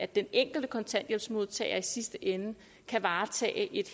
den enkelte kontanthjælpsmodtager i sidste ende kan varetage et